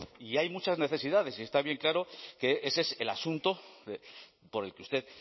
y hay muchas necesidades y está bien claro que ese es el asunto por el que usted